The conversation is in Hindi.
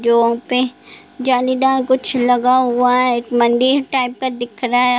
जालीदार कुछ लगा हुआ है एक मंदिर टाइप का दिख रहा है ।